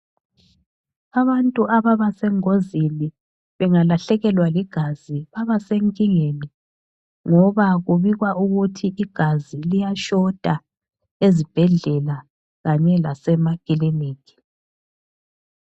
Abantu ababa sengozini bengalahlekelwa ligazi babasenkingeni ngoba kubikwa ukuthi igazi liyashota ezibhedlela kanye lasemakiliniki.